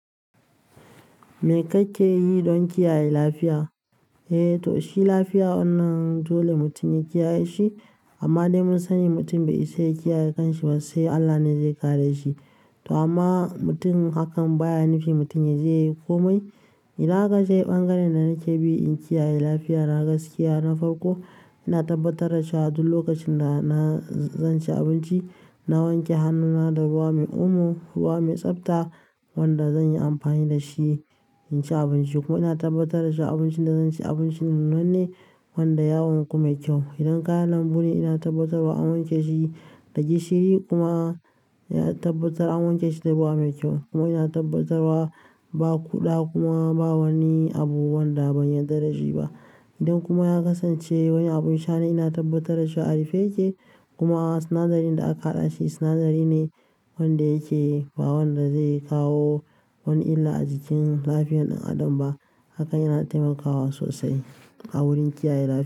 Me kake yi don kiyaye lafiya? Eh, to shi lafiya wannan dole mutum ya kiyaye shi. Amma dai mun sani mutum bai isa ya kiyaye kanshi ba, sai Allah ne zai kare shi. To amma mutum hakan baya nufin mutum ya zai yi komai. Idan akacze ɓangaren da nake bi in kiyaye lafiya, na gaskiya, na farko. Ina tabbatar da cewa duk lokacin da na zan ci abinci, na wanke hannuna da ruwa mai umo, ruwa mai tsabta wanda zan yi amfani da shi in ci abinci. Kuma ina tabbatar da cewa abincin da zan ci abinci nunne wanda yawon kuma kyau. Idan kayan lambu ne, ina tabbatarwa an wanke shi da gishiri kuma ya tabbatar an wanke shi da ruwa mai kyau. Kuma ina tabbatarwa ba ƙuda kuma ba wani abu wanda ban yarda da shi ba. Idan kuma ya kasance wani abun sha ne, ina tabbatar da shi a rufe yake. Kuma sinadari da aka haɗa shi sinadari ne wanda yake ba wanda zai kawo wani illa a jikin lafiyar ɗan adam ba. Hakan yana taimakawa sosai a wurin kiyaye lafiya.